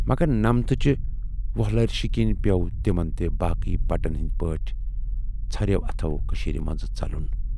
مگر نمتچہِ وۅلہرِشہٕ کِنۍ پٮ۪و تِمَن تہِ باقٕے بٹن ہٕندۍ پٲٹھۍ ژھٔرٮ۪و اَتھو کٔشیٖرِ منزٕ ژلُن۔